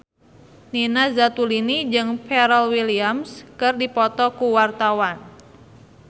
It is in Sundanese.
Nina Zatulini jeung Pharrell Williams keur dipoto ku wartawan